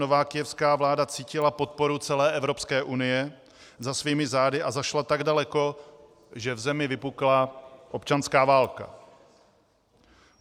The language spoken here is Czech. Nová kyjevská vláda cítila podporu celé Evropské unie za svými zády a zašla tak daleko, že v zemi vypukla občanská válka.